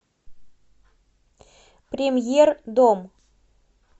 премьер дом